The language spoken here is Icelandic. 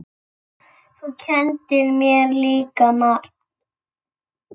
Þú kenndir mér líka margt.